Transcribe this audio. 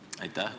Aitäh!